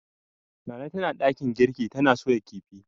Nana tana dakin girki tana soya kifin.